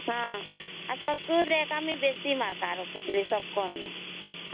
ହଁ ଆଉ ସଂସ୍କୃତ ମୁଇ ସବୁଠୁ ବେଶୀ ମାର୍କ ରଖୁଥିଲି